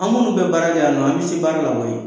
An munnu bɛ baara kɛ yan nɔ, an bɛ se baara la koyi.